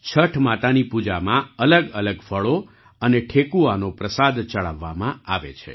છઠ માતાની પૂજામાં અલગઅલગ ફળો અને ઠેકુઆનો પ્રસાદ ચડાવવામાં આવે છે